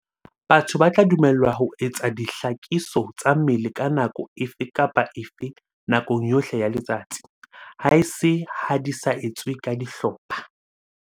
Batho ba tla dumellwa ho etsa dihlakiso tsa mmele ka nako efe kapa efe nakong yohle ya letsatsi, haese ha di sa etswe ka dihlopha.